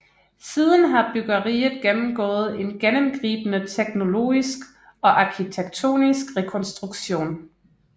Siden har bryggeriet gennemgået en gennemgribende teknologisk og arkitektonisk rekonstruktion